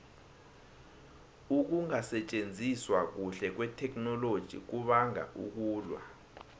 ukungasitjenziswa kuhle kwetheknoloji kubanga ukulwa